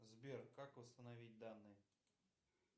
сбер как восстановить данные